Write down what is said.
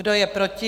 Kdo je proti?